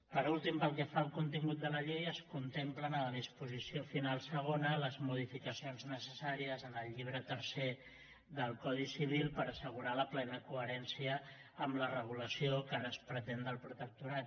per últim pel que fa al contingut de la llei es contemplen a la disposició final segona les modificacions necessàries en el llibre tercer del codi civil per assegurar la plena coherència amb la regulació que ara es pretén del protectorat